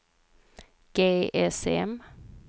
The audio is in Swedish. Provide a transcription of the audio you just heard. GSM